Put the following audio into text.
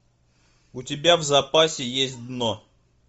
у тебя в запасе есть дно